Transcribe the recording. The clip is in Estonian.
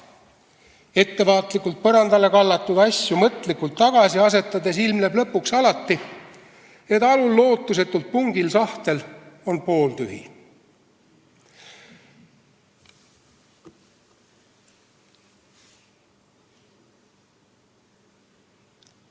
Ettevaatlikult põrandale kallatud asju mõtlikult tagasi asetades ilmneb alati, et alul lootusetult pungil sahtel on lõpuks pooltühi.